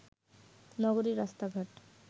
নগরীর রাস্তাঘাট